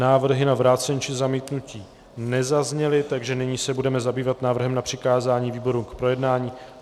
Návrhy na vrácení či zamítnutí nezazněly, takže nyní se budeme zabývat návrhem na přikázání výboru k projednání.